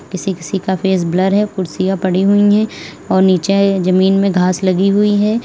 किसी किसी का फेस ब्लर है कुर्सियां पड़ी हुई है और नीचे जमीन में घास लगी हुई है।